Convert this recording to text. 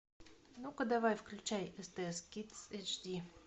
ну ка давай включай стс кидс эйч ди